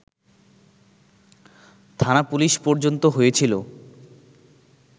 থানা-পুলিশ পর্যন্ত হয়েছিল